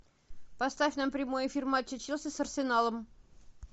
поставь нам прямой эфир матча челси с арсеналом